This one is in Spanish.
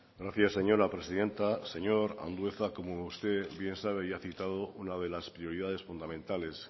gracias señora presidenta señor andueza como usted bien sabe y ha citado una de las prioridades fundamentales